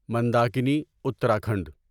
Mandakini Uttarakhand